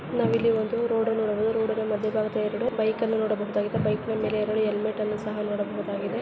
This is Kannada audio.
ನಾವು ಅಲ್ಲಿ ಒಂದು ರೋಡ್ ನೋಡಬಹುದು ರೋಡ್ ಅದ ಮಧ್ಯ ಭಾಗದ ಎರಡು ಬೈಕ್‌ ಅನ್ನು ನೋಡಬಹುದು. ಸಹಿತ ಬೈಕ್ ನ ಮೇಲೆ ಹೆಲ್ಮೇಟ್ಸ್ ಸಹಾ ನೋಡಬಹುದಾಗಿದೆ .